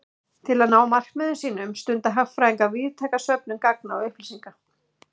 Til að ná markmiðum sínum stunda hagfræðingar víðtæka söfnun gagna og upplýsinga.